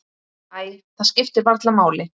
Æ, það skiptir varla máli.